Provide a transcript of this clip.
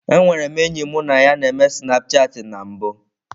Enwere m enyi mụ na ya n'eme snapchatị na mbụ.